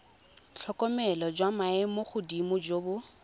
tlhokomelo jwa maemogodimo jo bo